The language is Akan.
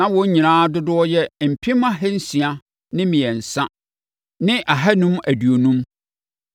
Na wɔn nyinaa dodoɔ yɛ mpem ahansia ne mmiɛnsa ne ahanum aduonum (603,550).